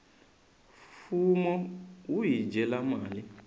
fumo wu hi dyela mali